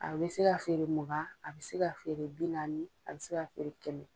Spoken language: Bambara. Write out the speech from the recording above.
A bɛ se ka feere mugan, a bɛ se ka feere bi naani, a bɛ se ka feere kɛmɛ.